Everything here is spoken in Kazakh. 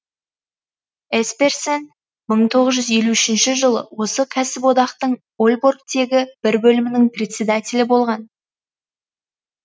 есперсен мың тоғыз жүз елу үшінші жылы осы кәсіподақтың ольборгтегі бір бөлімінің председателі болған